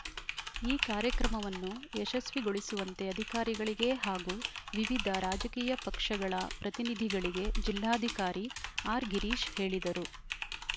ಈ ಕಾರ್ಯಕ್ರಮವನ್ನು ಯಶಸ್ವಿಗೊಳಿಸುವಂತೆ ಅಧಿಕಾರಿಗಳಿಗೆ ಹಾಗೂ ವಿವಿಧ ರಾಜಕೀಯ ಪಕ್ಷಗಳ ಪ್ರತಿನಿಧಿಗಳಿಗೆ ಜಿಲ್ಲಾಧಿಕಾರಿ ಆರ್‌ ಗಿರೀಶ್‌ ಹೇಳಿದರು